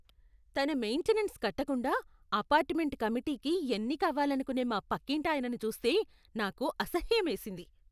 తన మెయింటెనెన్స్ కట్టకుండా అపార్ట్మెంట్ కమిటీకి ఎన్నిక అవ్వాలనుకునే మా పక్కింటాయనను చూస్తే నాకు అసహ్యమేసింది.